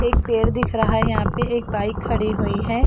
एक पेड़ दिख रहा है यहाँ पे एक बाइक खड़ी हुई है।